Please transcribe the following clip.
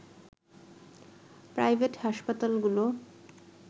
private হাসপাতালগুলো